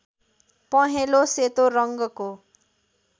पँहेलो सेतो रङ्गको